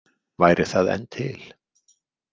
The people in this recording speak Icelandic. Væri það enn til?